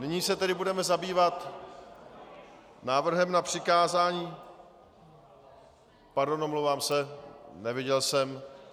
Nyní se tedy budeme zabývat návrhem na přikázání - Pardon, omlouvám se, neviděl jsem.